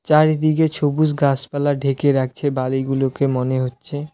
চারিদিকে ছবুজ গাছপালা ঢেকে রাখছে বাড়িগুলোকে মনে হচ্ছে।